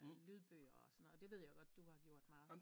Lydbøger og sådan noget det ved jeg godt du har gjort meget